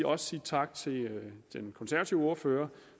også sige tak til den konservative ordfører